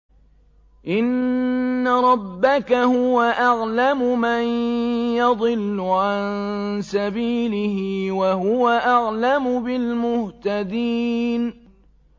إِنَّ رَبَّكَ هُوَ أَعْلَمُ مَن يَضِلُّ عَن سَبِيلِهِ ۖ وَهُوَ أَعْلَمُ بِالْمُهْتَدِينَ